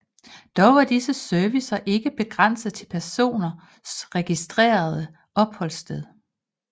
Dog var disse servicer ikke begrænset til personens registrerede opholdssted